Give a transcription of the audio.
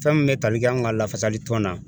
Fɛn min bɛ tali kɛ an ka lafasali tɔn na